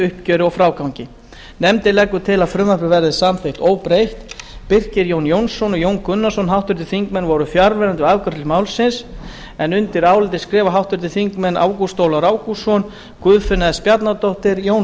uppgjöri og frágangi nefndin leggur til að frumvarpið verði samþykkt óbreytt birkir j jónsson og jón gunnarsson voru fjarverandi við afgreiðslu málsins undir álitið skrifa háttvirtir þingmenn ágúst ólafur ágústsson guðfinna s bjarnadóttir jón